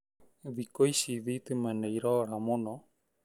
Thikũici thitima nĩ irora mũno